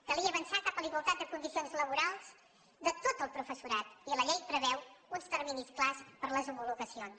calia avançar cap a la igualtat de condicions laborals de tot el professorat i la llei preveu uns terminis clars per les homologacions